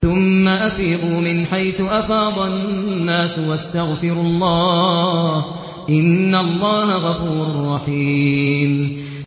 ثُمَّ أَفِيضُوا مِنْ حَيْثُ أَفَاضَ النَّاسُ وَاسْتَغْفِرُوا اللَّهَ ۚ إِنَّ اللَّهَ غَفُورٌ رَّحِيمٌ